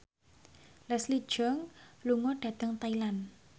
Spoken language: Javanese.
Leslie Cheung lunga dhateng Thailand